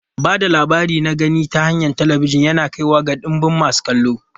Ba da labari na gani ta hanyar talabijin yana kaiwa ga ɗimbin masu kallo.